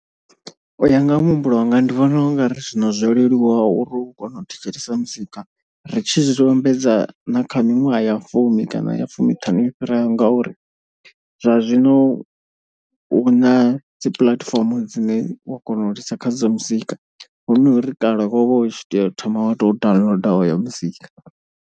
U ya nga ha muhumbulo wanga ndi vhona u nga ri zwino zwo leluwa uri u kone u thetshelesa muzika. Ri tshi zwi vhambedza na kha miṅwaha ya fumi kana ya fumiṱhanu yo fhiraho ngauri zwa zwino hu na dzi puḽatifomo dzine wa kona u lisa kha dza muzika. Hu no ri kale wo vha u tshi tea u thoma wa to downloader oyo muzika.